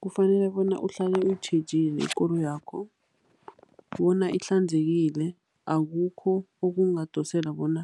Kufanele bona uhlale uyitjhejile ikoloyakho bona ihlanzekile, akukho okungadosela bona